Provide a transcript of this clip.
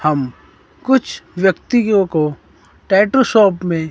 हम कुछ व्यक्तियों को टैटू शॉप में--